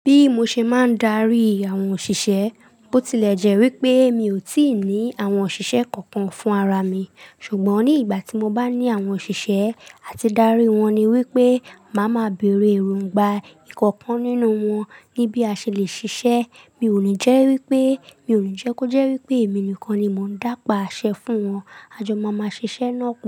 Bí mo ṣe máa ń darí àwọn òṣìṣẹ́, bó tilẹ̀ jẹ́ wípé mi ò tí ì ní àwọn òṣìṣẹ́ kọọkan fún ara mi, ṣùgbọ́n ní ìgbà tí mo bá ní àwọn òṣìṣẹ́, à ti darí wọn ni wípé, màá ma bèrè èròngbà ìkọ̀kan nínú wọn níbí a ṣe lè ṣiṣẹ́. Mi ò ní jẹ́ wípé, mi ò ní jẹ́ kó jẹ́ wípé èmi nìkan ni mò ń dá pa àṣẹ fún wọn. A jọ máa ma ṣiṣẹ́ lọ́kàn.